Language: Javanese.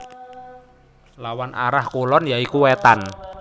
Lawan arah kulon ya iku Wétan